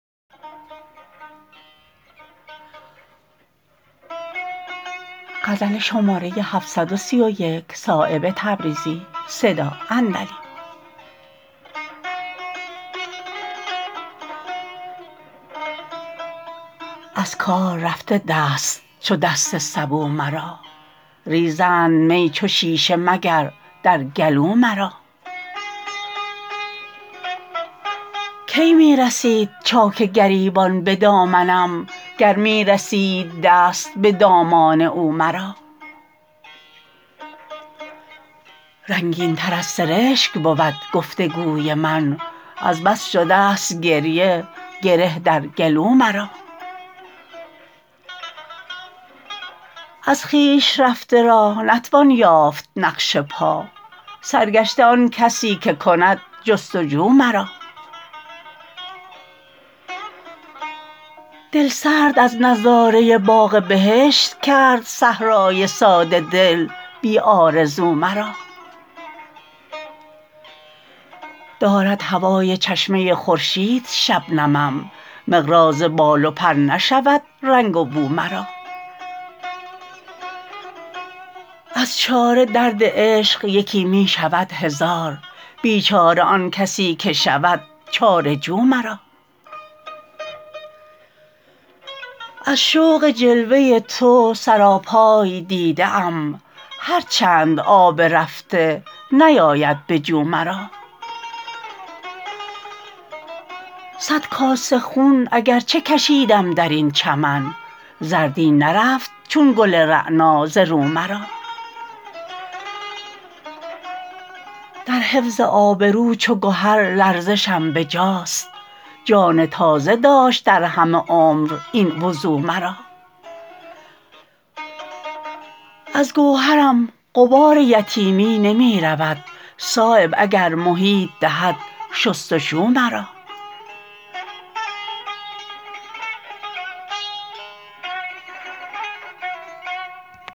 از کار رفته دست چو دست سبو مرا ریزند می چو شیشه مگر در گلو مرا کی می رسید چاک گریبان به دامنم گر می رسید دست به دامان او مرا رنگین تر از سرشک بود گفتگوی من از بس شده است گریه گره در گلو مرا از خویش رفته را نتوان یافت نقش پا سرگشته آن کسی که کند جستجو مرا دلسرد از نظاره باغ بهشت کرد صحرای ساده دل بی آرزو مرا دارد هوای چشمه خورشید شبنمم مقراض بال و پر نشود رنگ و بو مرا از چاره درد عشق یکی می شود هزار بیچاره آن کسی که شود چاره جو مرا از شوق جلوه تو سراپای دیده ام هر چند آب رفته نیاید به جو مرا صد کاسه خون اگر چه کشیدم درین چمن زردی نرفت چون گل رعنا ز رو مرا در حفظ آبرو چو گهر لرزشم بجاست جان تازه داشت در همه عمر این وضو مرا از گوهرم غبار یتیمی نمی رود صایب اگر محیط دهد شستشو مرا